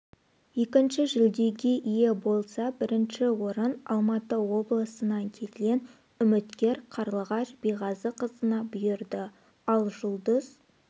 екінші жүлдеге ие болса бірінші орын алматы облысынан келген үміткер қарлығаш биғазықызына бұйырды ал жұлдыз